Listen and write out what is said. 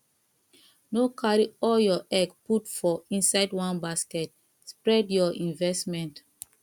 no carry all your egg put for inside one basket spread your investment